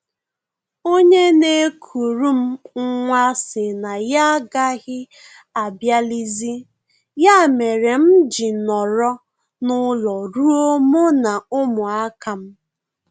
Onye na-ekuru m nwa sị na ya agaghị abịalizi, ya mere m ji nọrọ n'ụlọ rụọ mụ na ụmụaka m